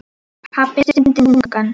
Pabbi stundi þungan.